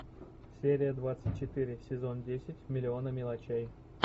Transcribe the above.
серия двадцать четыре сезон десять миллионы мелочей